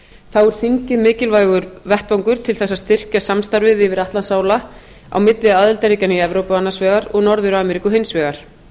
er þingið mikilvægur vettvangur til þess að styrkja samstarfið yfir atlantsála á milli aðildarríkjanna í evrópu annars vegar og norður ameríku hins vegar